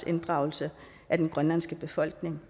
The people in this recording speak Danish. inddragelse af den grønlandske befolkning